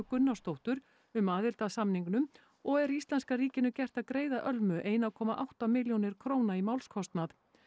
Gunnarsdóttur um aðild að samningnum og er íslenska ríkinu gert að greiða Ölmu eitt komma átta milljónir króna í málskostnað